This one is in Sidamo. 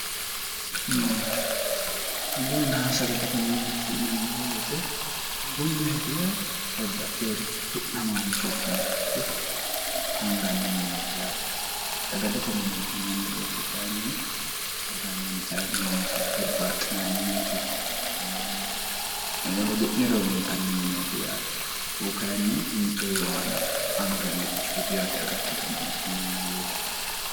aggunnaha sagallete minetiiniemmoheete aggu mineetiyya babbaxxi horicho tu'namaancho ikkinorico anganni mineeti yaate sagalete mineeti minemmo beetekyinn sgn0mineeti hurbaaxxine mineetiyehudi'ni rowintanni mineeti yaate hukayinni intoyiwaana anganni richoti yaate agattote mineetiinemmoeete